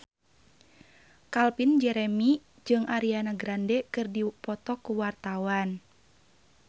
Calvin Jeremy jeung Ariana Grande keur dipoto ku wartawan